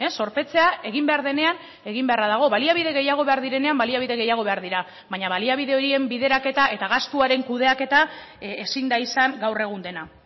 zorpetzea egin behar denean egin beharra dago baliabide gehiago behar direnean baliabide gehiago behar dira baina baliabide horien bideraketa eta gastuaren kudeaketa ezin da izan gaur egun dena